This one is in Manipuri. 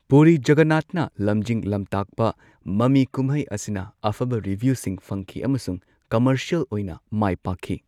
ꯄꯨꯔꯤ ꯖꯒꯟꯅꯥꯙꯅ ꯂꯝꯖꯤꯡ ꯂꯝꯇꯥꯛꯄ ꯃꯃꯤ ꯀꯨꯝꯍꯩ ꯑꯁꯤꯅ ꯑꯐꯕ ꯔꯤꯚ꯭ꯌꯨꯁꯤꯡ ꯐꯪꯈꯤ ꯑꯃꯁꯨꯡ ꯀꯝꯃꯔꯁ꯭ꯌꯦꯜ ꯑꯣꯏꯅ ꯃꯥꯏꯄꯥꯛꯈꯤ꯫